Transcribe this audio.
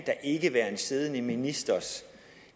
ikke være en siddende ministers